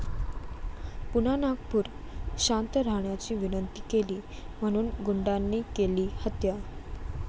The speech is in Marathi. पुन्हा नागपूर!, शांत राहण्याची विनंती केली म्हणून गुंडांनी केली हत्या